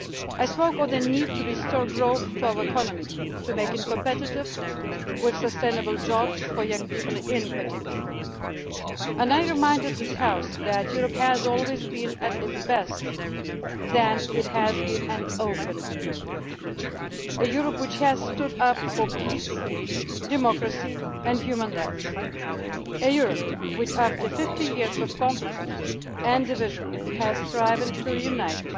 I spoke of the need to restore growth to our economy and to make it competitive, with sustainable jobs for young people in particular. And I reminded this House that Europe has always been at its best when it has been an open Europe a Europe which has stood up for peace, democracy and human rights, and a Europe which, after 50 years of conflict and division, has striven to reunite.